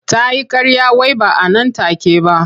Ta yi ƙarya wai ba a nan take ba.